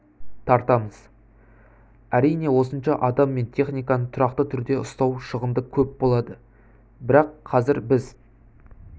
тартамыз әрине осынша адам мен техниканы тұрақты түрде ұстау шығынды көп болады бірақ қазір біз